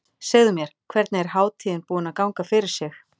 Segðu mér, hvernig er hátíðin búin að ganga fyrir sig?